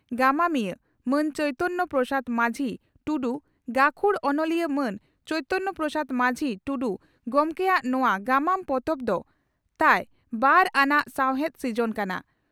ᱜᱟᱢᱟᱢᱤᱭᱟᱹ ᱺ ᱢᱟᱱ ᱪᱚᱭᱤᱛᱚᱱᱭᱚ ᱯᱨᱚᱥᱟᱫᱽ ᱢᱟᱹᱡᱷᱤ (ᱴᱩᱰᱩ) ᱜᱟᱹᱠᱷᱩᱲ ᱚᱱᱚᱞᱤᱭᱟᱹ ᱢᱟᱱ ᱪᱚᱭᱤᱛᱚᱱᱭᱚ ᱯᱨᱚᱥᱟᱫᱽ ᱢᱟᱹᱡᱷᱤ (ᱴᱩᱰᱩ) ᱜᱚᱢᱠᱮᱭᱟᱜ ᱱᱚᱣᱟ ᱜᱟᱢᱟᱢ ᱯᱚᱛᱚᱵ ᱫᱚ ᱛᱟᱭ ᱵᱟᱨ ᱟᱱᱟᱜ ᱥᱟᱣᱦᱮᱫ ᱥᱤᱡᱚᱱ ᱠᱟᱱᱟ ᱾